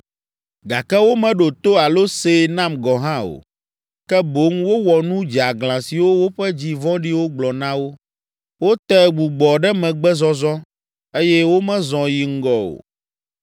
Gake womeɖo to alo see nam gɔ̃ hã o, ke boŋ wowɔ nu dzeaglã siwo woƒe dzi vɔ̃ɖiwo gblɔ na wo. Wote gbugbɔɖemegbezɔzɔ, eye womezɔ yi ŋgɔ o.